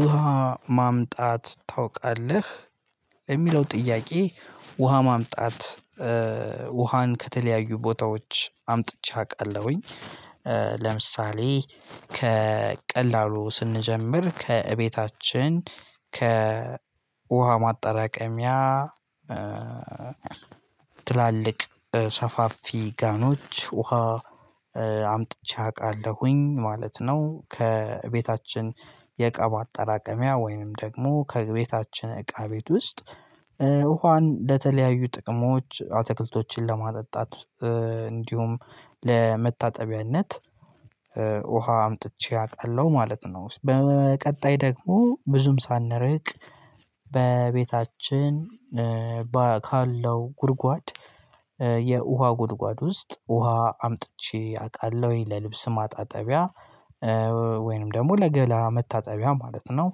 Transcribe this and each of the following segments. ውሃ ማምጣት ታውቃለህ የሚለው ጥያቄ ውሃ ማምጣት ውሃን ከተለያዩ ቦታዎች አምጥቼ አውቃለሁኝ ለምሳሌ ከቀላሉ ስንጀምር ከእቤታችን ከውሃ ማጠራቀሚያ ትላልቅ ሰፋፊ ጋኖች ውሃ አምጥቼ አውቃለሁኝ ማለት ነው ከቤታችን የእቃ ማጠራቀሚያ ወይንም ደግሞ ከቤታችን እቃ ቤት ውስጥ ውሃን ለተለያዩ ጥቅሞች አትክልቶችን ለማጠጣት እንዲሁም ለመታጠቢያነት ውሃ አምጥቼ አውቃለሁ ማለት ነው በቀጣይ ደግሞ ብዙም ሳንርቅ በቤታችን ካለው ጉድጓድ የውሃ ጉድጓድ ውስጥ ውሃ አምጥቼ አውቃለሁኝ ለልብስ ማጣጠቢያ ወይንም ደግሞ ለገላ መታጠቢያ ማለት ነው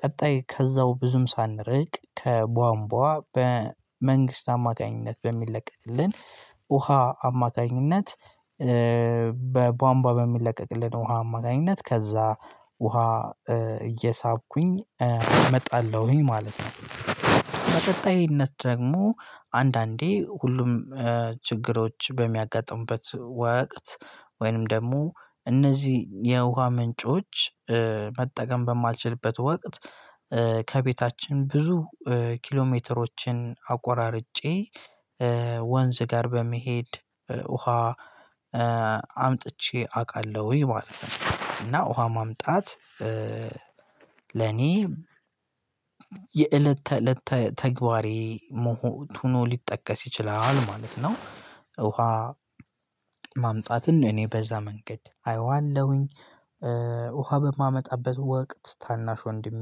ቀጣይ ከዛው ብዙም ሳንርቅ ከቧንቧ በመንግስት አማካኝነት በሚለቀቅልን ውሃ አማካኝነት በቧንቧ በሚለቀቅልን ውሃ አማካኝነት ከዛ ውሃ እየሳብኩኝ እመጣለሁኝ ማለት ነው፤ በቀጣይነት ደግሞ አንዳንዴ ሁሉም ችግሮች በሚያጋጥሙበት ወቅት ወይንም ደግሞ እነዚህ የውሃ ምንጮች መጠቀም በማልችልበት ወቅት ከቤታችን ብዙ ኪሎሜትሮችን አቆራርጬ ወንዝ ጋር በመሄድ ውሃ አምጥቼ አውቃለሁኝ ማለት ነው እና ውሃ ማምጣት ለኔ የእለት ተለት ተግባሬ ሆኖ ሊጠቀስ ይችላል ማለት ነው፤ ውሃ ማምጣትን ነው እኔ በዛ መንገድ አየዋለሁኝ ውሃ በማመጣበት ወቅት ታናሽ ወንድሜ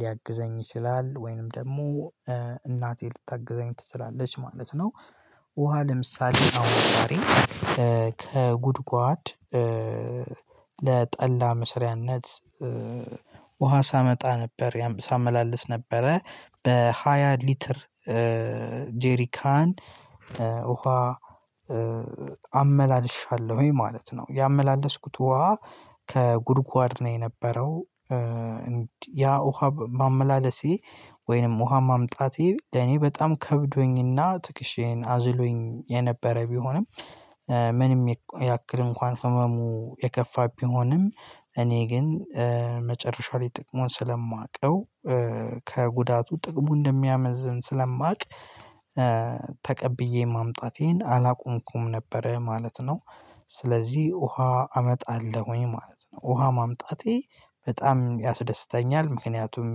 ሊያግዘኝ ይችላል ወይንም ደግሞ እናቴ ልታግዘኝ ትችላለች ማለት ነው፤ ውሃ ለምሳሌ አሁን ዛሬ ከጉድጓድ ለጠላ መስሪያነት ውሃ ሳመጣ ነበር ያም ሳመላልስ ነበረ በሃያ ሊትር ጄሪካን ውሃ አመላልሻለሁኝ ማለት ነው ያመላለስኩት ውሃ ከጉድጓድ ነው የነበረው ያ ውሃ ማመላለሴ ወይንም ውሃ ማምጣቴ ለኔ በጣም ከብዶኝና ትክሼን አዝሎኝ የነበረ ቢሆንም ምንም ያክል እንኳን ህመሙ የከፋ ቢሆንም እኔ ግን መጨረሻ ላይ ጥቅሙን ስለማውቀው ከጉዳቱ ጥቅሙ እንደሚያመዝን ስለማውቅ ተቀብዬ ማምጣቴን አላቆምኩም ነበረ ማለት ነው ስለዚህ ውሃ አመጣለሁኝ ማለት ነው ውሃ ማምጣቴ በጣም ያስደስተኛል ምክንያቱም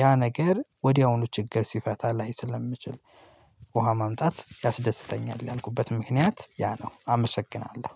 ያ ነገር ወዲያውኑ ችግር ሲፈታ ላይ ስለሚችል ውሃ ማምጣት ያስደስተኛል ያልኩበት ምክንያት ያ ነው አመሰግናለሁ።